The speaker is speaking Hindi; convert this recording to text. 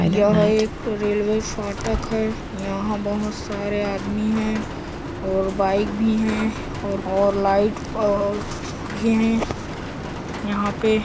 यह एक रेलवे फाटक हैयहाँ बहोत सारे आदमी है और बाइक भी है और और लाइट और भी है यहाँ पे --